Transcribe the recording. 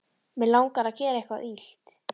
Mig langar að gera eitthvað illt.